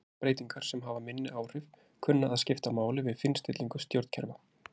Aðrar breytingar sem hafa minni áhrif kunna að skipta máli við fínstillingu stjórnkerfa.